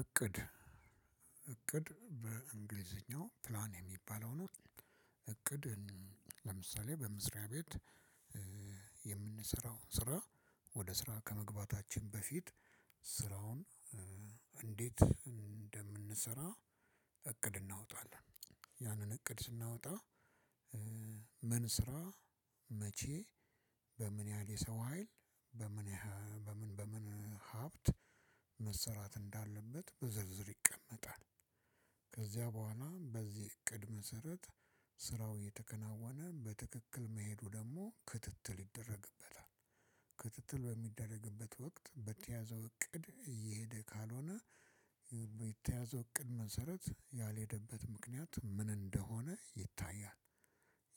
እቅድ እቅድ በእንግሊዝኛው ፕላን የሚባለው ነው። እቅድ ለምሳሌ በምስሪያ ቤት። የምንሰራው ስራ ወደ ስራ ከመግባታችን በፊት። ስራውን እንዴት እንደምንሰራ እቅድ እናውጣለን ያንን እቅድ ስናወጣ። ምን ስራ መቼ በምን ያህል የሰው ሀይል በምን በምን በምን ሀብት መሰራት እንዳለበት በዝርዝር ይቀመጣል። ከዚያ በኋላም በዚህ እቅድ መሰረት ስራው የተከናወነ በትክክል መሄዱ ደግሞ ክትትል ይደረግበታል። ክትትል በሚደረግበት ወቅት በተያዘው እቅድ እየሄደ ካልሆነ በተያዘው እቅድ መሰረት ያልሄደበት ምክንያት ምን እንደሆነ ይታያል።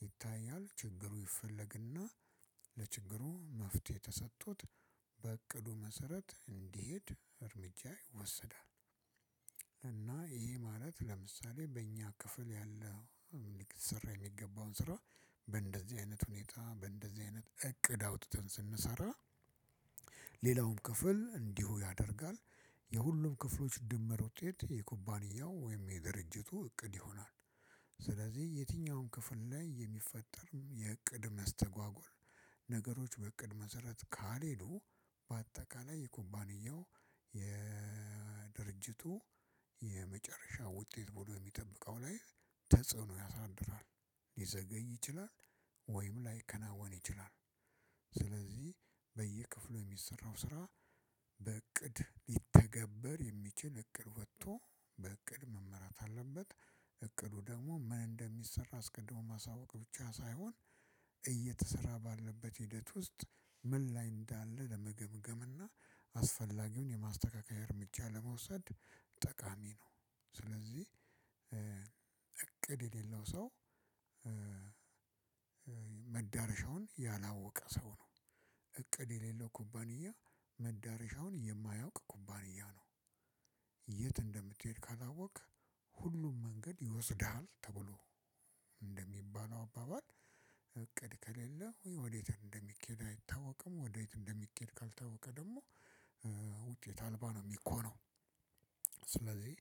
ይታያል ችግሩ ይፈለግና ለችግሩ መፍትሄ ተሰጥቶት በእቅዱ መሰረት እንዲሄድ እርምጃ ይወሰዳል። እና ይሄ ማለት ለምሳሌ በእኛ ክፍል ያለው ስራ የሚገባውን ስራ በእንደዚህ አይነት ሁኔታ በእንደዚህ አይነት እቅድ አውጥተን ስንሰራ ሌላውም ክፍል እንዲሁ ያደርጋል። የሁሉም ክፍሎች ድምር ውጤት የኩባንያው ወይም የድርጅቱ እቅድ ይሆናል። ስለዚህ የትኛውም ክፍል ላይ የሚፈጠርም የእቅድ መስተጓጎል ነገሮች በእቅድ መሰረት ካልሄዱ በአጠቃላይ የኩባንያው የድርጅቱ የመጨረሻ ውጤት ቡድን የሚጠብቀው ላይ ተጽዕኖ ያሳድራል። ይችላል ወይም ላይከናወን ይችላል። ስለዚህ በየክፍሉ የሚሰራው ስራ በእቅድ ሊተገበር የሚችል እቅድ ወጥቶ በእቅድ መመራት አለበት። እቅዱ ደግሞ ምን እንደሚሰራ አስቀድሞ ማሳወቅ ብቻ ሳይሆን እየተሰራ ባለበት ሂደት ውስጥ ምን ላይ እንዳለ ለመገምገም እና አስፈላጊውን የማስተካከያ እርምጃ ለመውሰድ ጠቃሚ ነው። ስለዚህ እቅድ የሌለው ሰው መዳረሻውን ያላወቀ ሰው ነው። እቅድ የሌለው ኩባንያ መዳረሻውን የማያውቅ ኩባንያ ነው። የት እንደምትሄድ ካላወቅክ። ሁሉም መንገድ ይወስድሃል ተብሎ እንደሚባለው አባባል። እቅድ ከሌለው ወዴት እንደሚኬድ አይታወቅም። ወዴት እንደሚኬድ ካልታወቀ ደግሞ ውጤት አልባ ነው የሚኮነው። ስለዚህ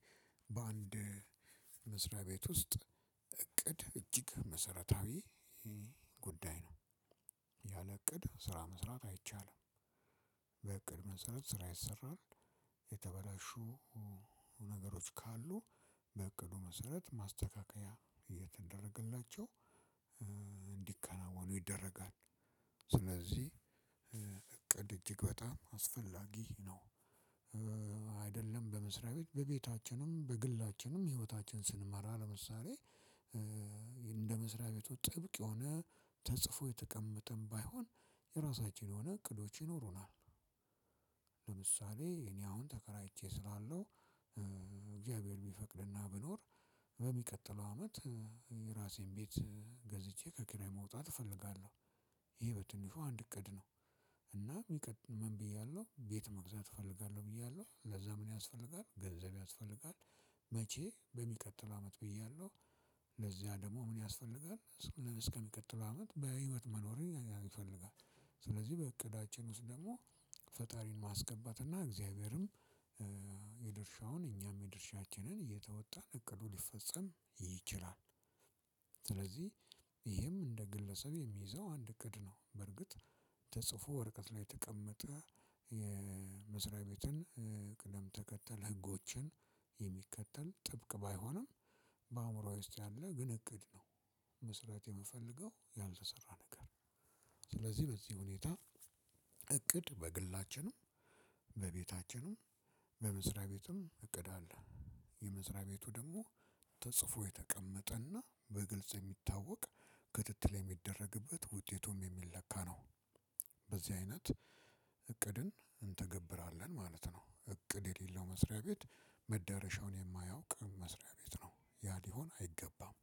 በአንድ መስሪያ ቤት ውስጥ እቅድ እጅግ መሰረታዊ ጉዳይ ነው። ያለ እቅድ ስራ መስራት አይቻልም። በእቅድ መሰረት ስራ ይሰራል። የተበላሹ ነገሮች ካሉ በእቅዱ መሰረት ማስተካከያ እየተደረገላቸው እንዲከናወኑ ይደረጋል። ስለዚህ እቅድ እጅግ በጣም አስፈላጊ ነው። አይደለም በመስሪያ ቤት በቤታችንም በግላችንም ህይወታችን ስንማር አለመሳሪያ እንደ መስሪያ ቤቱ ጥብቅ የሆነ ተጽፎ የተቀመጠም ባይሆን የራሳችን የሆነ እቅዶች ይኖሩናል። ለምሳሌ እኔ አሁን ተከራይቼ ስላለው እግዚአብሔር ቢፈቅድና ቢኖር በሚቀጥለው አመት የራሴን ቤት ገዝቼ ከኪራይ መውጣት እፈልጋለሁ። ይሄ በትንሽ አንድ እቅድ ነው። እና ምን ብያለሁ ቤት መግዛት እፈልጋለሁ ብያለሁ ለዛ ምን ያስፈልጋል ገንዘብ ያስፈልጋል። መቼ በሚቀጥለው አመት ብያለሁ። ለዚያ ደግሞ ምን ያስፈልጋል እስከሚቀትለው አመት በህይወት መኖር ይፈልጋል። ስለዚህ በእቅዳችን ውስጥ ደግሞ ፈጣሪን ማስገባት እና እግዚአብሔርም የድርሻውን እኛም የድርሻችንን እየተወጣን እቅዱ ሊፈጸም ይችላል። ስለዚህ ይህም እንደ ግለሰብ የሚይዘው አንድ እቅድ ነው። በርግጥ ተጽፎ ወረቀት ላይ የተቀመጠ የመስሪያ ቤትን ቅደም ተከተል ህጎችን የሚከተል ጥብቅ ባይሆንም በአእምሮዋ ውስጥ ያለ ግን እቅድ ነው። መስራት የምፈልገው ያልተሰራ ነገር ነው። ስለዚህ በዚህ ሁኔታ እቅድ በግላችንም በቤታችንም በምስራቅ ቤትም እቅድ አለ። የምስራቅ ቤቱ ደግሞ ተጽፎ የተቀመጠ እና በግልጽ የሚታወቅ ክትትል የሚደረግበት ውጤቱም የሚለካ ነው። በዚህ አይነት እቅድን እንተገብራለን ማለት ነው። እቅድ የሌለው መስሪያ ቤት መዳረሻውን የማያውቅ መስሪያ ቤት ነው ያ ሊሆን አይገባም።